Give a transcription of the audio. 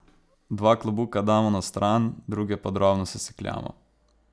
Dva klobuka damo na stran, druge pa drobno sesekljamo.